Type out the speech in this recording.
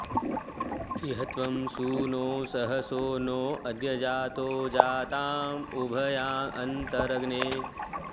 इ॒ह त्वं सू॑नो सहसो नो अ॒द्य जा॒तो जा॒ताँ उ॒भयाँ॑ अ॒न्तर॑ग्ने